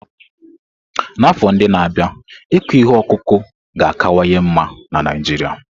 N'afọ ndị na-abịa, ịkụ ihe ọkụkụ ga-akawanye mma na Naijiria.